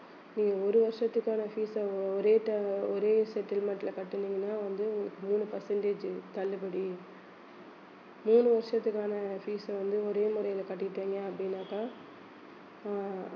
நீங்க ஒரு வருஷத்துக்கான fees அ ஒரே time ஒரே settlement ல கட்டுனீங்கன்னா வந்து உங்களுக்கு மூணு percentage தள்ளுபடி ஏழு வருஷத்துக்கான fees அ வந்து ஒரே முறையில கட்டிட்டீங்க அப்படின்னாக்கா அஹ்